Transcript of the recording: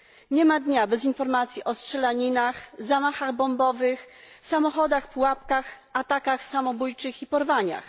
Nie ma dnia bez informacji o strzelaninach, zamachach bombowych, samochodach pułapkach, atakach samobójczych i porwaniach.